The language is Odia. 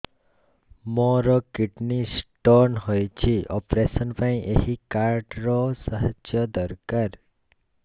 ମୋର କିଡ଼ନୀ ସ୍ତୋନ ହଇଛି ଅପେରସନ ପାଇଁ ଏହି କାର୍ଡ ର ସାହାଯ୍ୟ ଦରକାର